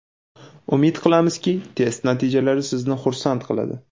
Umid qilamizki, test natijalari sizni xursand qiladi.